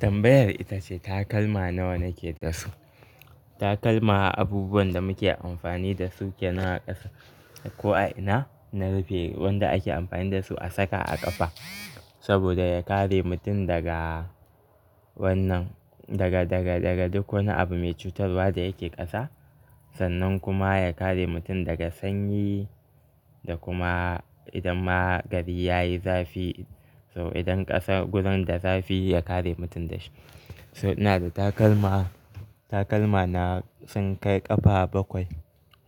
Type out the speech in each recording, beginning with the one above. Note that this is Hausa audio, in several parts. Tambayar ita ce takalma nawa nake da su. Takalma abubuwan da muke amfani da su ke na ƙasa ko a ina, na rufe. Wanda ake amfani da su a saka a ƙafa saboda ya kare mutum daga wannan, daga, daga, daga duk wani abu mai cutarwa da yake ƙasa. Sannan kuma ya kare mutum daga sanyi da kuma idan ma gari yayi zafi. Toh idan ƙasar gurin da zafi ya kare mutum da shi. So ina da takalma, takalma na sun kai ƙafa bakwai.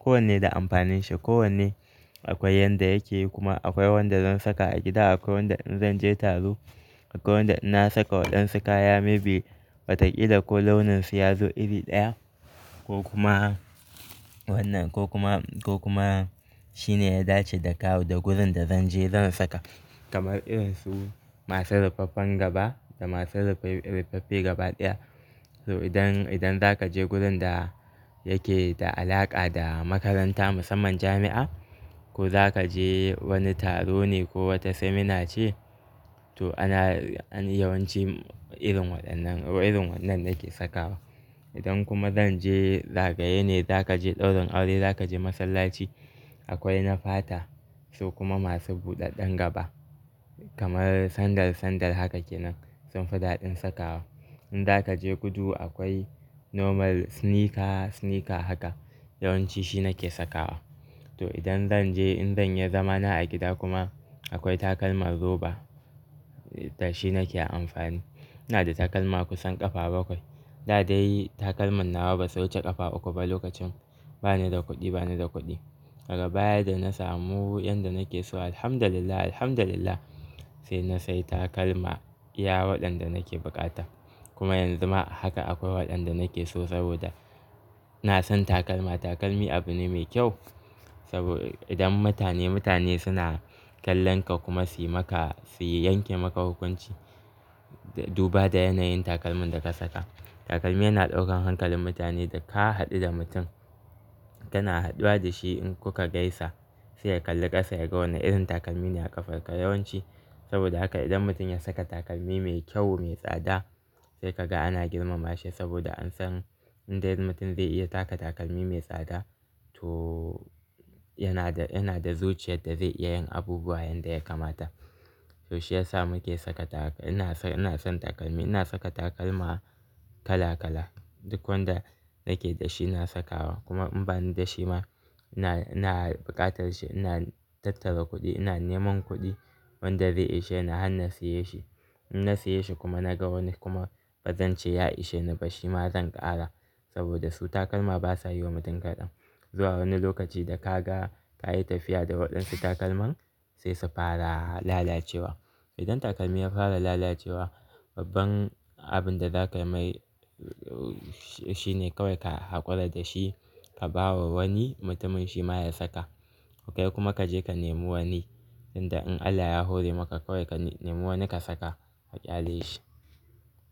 Kowanne da amfanin shi, kowanne akwai yanda yake yi kuma akwai wanda zan saka a gida, akwai wanda in zan je taro, akwai wanda ina saka waɗansu kaya maybe bata ƙi da ko launin su yazo iri ɗaya ko kuma wannan ko kuma, ko kuma shine ya dace da kawu da gurin da zan je zan saka. Kamar irin su masu rufaffen gaba da masu rufaffe gaba ɗaya. So idan, idan zaka je gurin da yake da alaƙa da makaranta musamman jami'a ko zaka je wani taro ne ko wata seminar ce to ana, an yi yawanci irin waɗannan, irin wannan nake sakawa. Idan kuma zan je zagaye ne, zaka je ɗaurin aure, zaka je masallaci akwai na fata su kuma masu buɗaɗɗen gaba kamar sandal, sandal haka kenan sun fi daɗin sakawa. In zaka je gudu akwai normal sneaker, sneaker haka yawanci shi nake sakawa. To idan zan je, idan ya zama na a gida kuma akwai takalman roba to shi nake amfani. Ina da takalma kusan ƙafa bakwai. Da dai takalman nawa ba sai wuce ƙafa uku ba lokacin bani da kuɗi, bani da kuɗi. Daga baya da na samu yanda nake so Alhamdulillah, Alhamdulillah sai na sayi takalma iya waɗanda nake buƙata. Kuma yanzu ma haka akwai waɗanda nake so saboda na san takalma, takalmi abu ne mai kyau saboda idan mutane, mutane suna kallon ka kuma su yi maka, su yanke maka hukunci duba da yanayin takalmin da ka saka. Takalmi yana ɗaukan hankalin mutane da ka haɗu da mutum, kana haɗuwa da shi in kuka gaisa sai ya kalli ƙasa ya ga wane irin takalmi ne a ƙafarka yawanci. Saboda haka idan mutum ya saka takalmi mai kyau, mai tsada sai kaga ana girmama shi saboda an san in dai mutum zai iya saka takalmi mai tsada to yana da, yana da zuciyar da zai iya yin abubuwa yanda ya kamata. To shi ya sa muke saka taka-- ina son, ina son takalmi. Ina saka takalma kala kala, duk wanda nake da shi na sakawa kuma in bani da shi ma ina, ina buƙatar shi ina tattara kuɗi, ina neman kuɗi wanda zai ishe ni har na siye shi. In na siye shi kuma na ga wani kuma bazan ce ya ishe ni ba shi ma zan ƙara saboda su takalma basa yi wa mutum kaɗan. Zuwa wani lokaci da ka ga, ka yi tafiya da waɗansu takalman sai su fara lalacewa. Idan takalmi ya fara lalacewa babban abin da zaka mai shi ne kawai ka haƙura da shi ka bawa wani mutumin shi ma ya saka. Kai kuma kaje ka nemo wani, inda in Allah ya hore maka kawai ka nemo wani ka saka ka ƙyale shi.